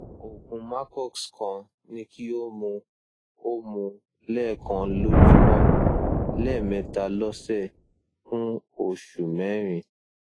oògùn macox kan ni kí o mu o mu lẹẹkan lójúmọ lẹẹmẹta lọsẹ fún oṣù mẹrin